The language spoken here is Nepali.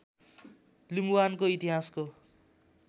लिम्बुवानको इतिहासको